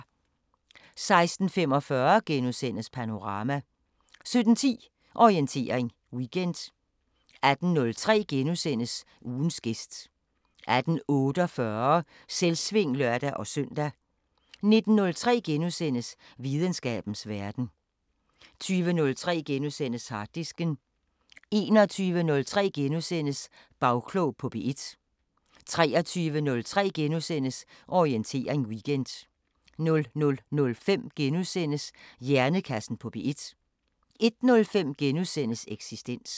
16:45: Panorama * 17:10: Orientering Weekend 18:03: Ugens gæst * 18:48: Selvsving (lør-søn) 19:03: Videnskabens Verden * 20:03: Harddisken * 21:03: Bagklog på P1 * 23:03: Orientering Weekend * 00:05: Hjernekassen på P1 * 01:05: Eksistens *